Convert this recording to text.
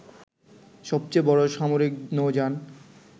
সবচেয়ে বড় সামরিক নৌযান